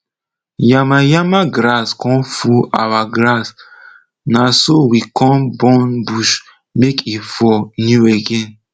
yama yama grass come full our grass na so we come burn bush make e for new again